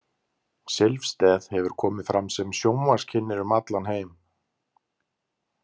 Silvstedt hefur komið fram sem sjónvarpskynnir um allan heim.